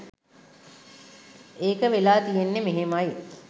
ඒක වෙලා තියෙන්නෙ මෙහෙමයි.